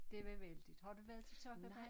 Det var vældigt har du været til sokkabal?